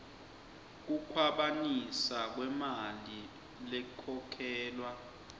kukhwabanisa kwemali lekhokhelwa